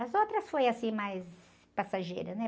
As outras foi assim, mais passageira, né?